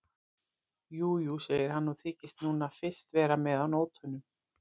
Jú, jú, segir hann og þykist núna fyrst vera með á nótunum.